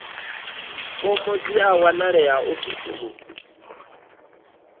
fomo dzi a wanalea ofisini